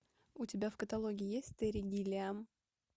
у тебя в каталоге есть терри гиллиам